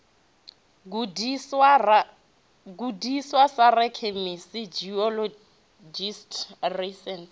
gudiswa sa rakhemisi geologist rasaintsi